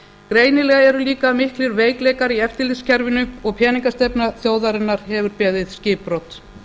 greinilega eru líka miklir veikleikar í eftirlitskerfinu og peningastefna þjóðarinnar hefur beðið skipbrot